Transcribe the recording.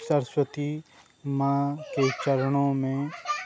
सरस्वती मां के चरणों में --